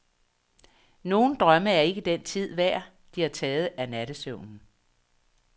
Nogle drømme er ikke den tid værd, de har taget af nattesøvnen.